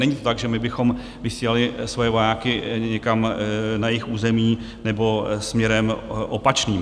Není to tak, že my bychom vysílali svoje vojáky někam na jejich území nebo směrem opačným.